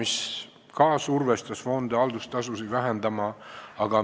See survestas omakorda fonde haldustasusid vähendama.